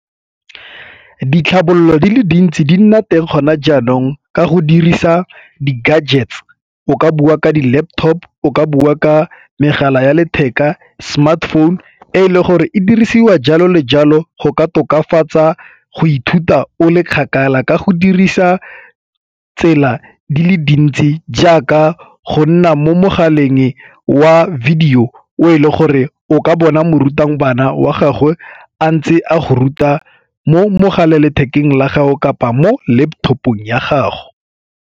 Ditlhabololo di le dintsi di nna teng kgona jaanong ka go dirisa di-gadgets o ka bua ka di-laptop, o ka bua ka megala ya letheka, smartphone e le gore e dirisiwa jalo le jalo go ka tokafatsa go ithuta o le kgakala. Ka go dirisa tsela di le dintsi jaaka go nna mo mogaleng wa video o e leng gore o ka bona morutang bana wa gago a ntse a go ruta mo mogala lethekeng la gago kapa mo laptop-ong ya gago.